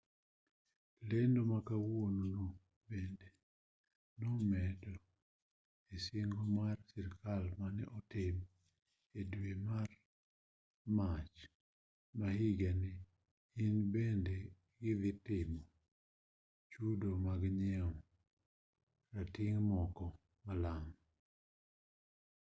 lendo ma kawuono no bende nomedo e singo mar sirkal mane otim e dwe mar mach ma higani ni bende gidhi timo chudo mag nyiewo rating' moko malang'